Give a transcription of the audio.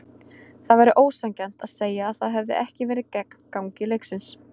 Það væri ósanngjarnt að segja að það hefði ekki verið gegn gangi leiksins.